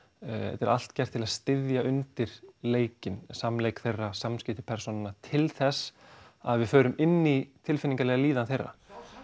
þetta er allt gert til að styðja undir leikinn samleik þeirra samskipti persónanna til þess að við förum inn í tilfinningalega líðan þeirra